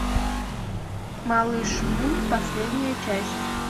малыш мун последняя часть